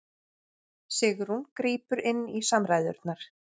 Sigrún grípur inn í samræðurnar